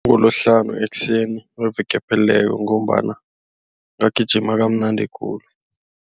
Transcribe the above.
Ngolosihlanu ekuseni weveke ephelileko ngombana ngagijima kamnandi khulu.